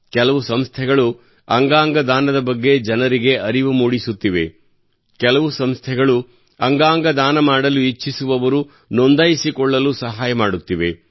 ಕೆಲವು ಸಂಸ್ಥೆಗಳು ಅಂಗಾಂಗ ದಾನದ ಬಗ್ಗೆ ಜನರಿಗೆ ಅರಿವು ಮೂಡಿಸುತ್ತಿವೆ ಕೆಲವು ಸಂಸ್ಥೆಗಳು ಅಂಗಾಂಗ ದಾನ ಮಾಡಲು ಇಚ್ಛಿಸುವವರು ನೋಂದಾಯಿಸಿಕೊಳ್ಳಲು ಸಹಾಯ ಮಾಡುತ್ತಿವೆ